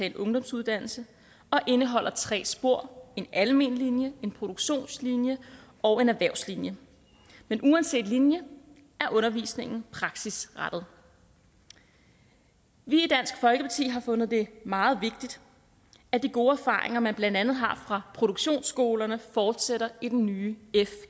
en ungdomsuddannelse og indeholder tre spor en almen linje en produktionslinje og en erhvervslinje men uanset linje er undervisningen praksisrettet vi i dansk folkeparti har fundet det meget vigtigt at de gode erfaringer man blandt andet har fra produktionsskolerne fortsætter i den nye